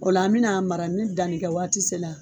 O la an bi na a mara ni dannikɛ waati sela